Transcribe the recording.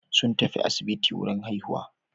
Sun tafi asibiti wurin haihuwa.